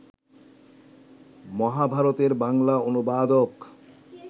মহাভারতের বাংলা অনুবাদক